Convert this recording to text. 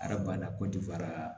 Araba kɔntiniyera